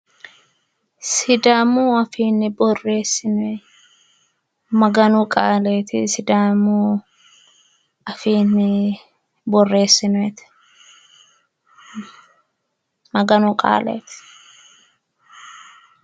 sidaamu afiinni borreessinoonni maganu qaaleeti sidaamu afiinni borreessinoonnite maganu qaaleeti.